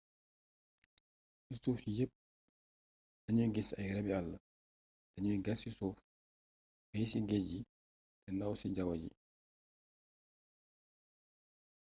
ci suuf ci yepp lanuy gis ay rabii àll danuy gas ci suuf féey ci géej yi te ndaaw ci jawwu ji